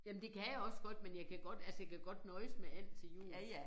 Jamen det kan jeg også godt men jeg kan godt altså jeg kan godt nøjes med and til jul